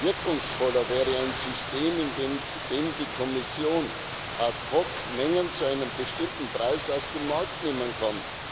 Wirkungsvoller wäre ein System, in dem die Kommission ad hoc Mengen zu einem bestimmten Preis aus dem Markt nehmen kann.